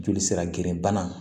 Joli sira gerenbana